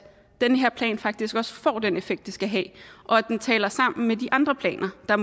den her plan faktisk også får den effekt den skal have og at den taler sammen med de andre planer der